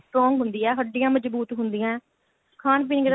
strong ਹੁੰਦੀ ਏ ਹੱਡੀਆਂ ਮਜਬੂਤ ਹੁੰਦੀਆ